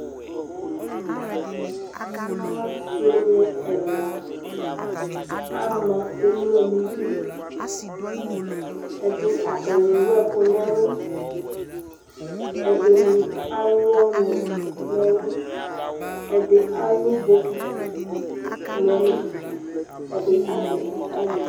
asii ni ɛla ama ɛmlɔ nʋ idʋ, ɛdi atani ɛwʋ ɛkʋ nʋ ɛlʋ, ɛdini alʋ ɔnʋ nʋ ɛlʋ, ɛdi alʋ bɔkiti nʋ ɛlʋ, ɛdi azɛ kataya